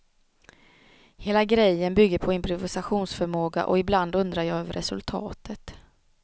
Hela grejen bygger på improvisationsförmåga och ibland undrar jag över resultatet.